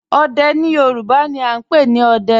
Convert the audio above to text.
Òdè ni Yorùbá ni à n pẹ̀ ni "Òdẹ̀"